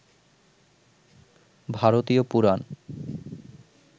ভারতীয় পুরাণ